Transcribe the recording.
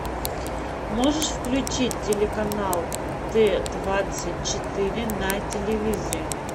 можешь включить телеканал т двадцать четыре на телевизоре